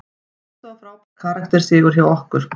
Þetta var frábær karakter sigur hjá okkur.